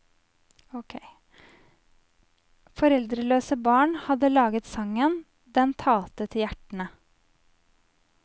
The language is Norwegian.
Foreldreløse barn hadde laget sangen, den talte til hjertene.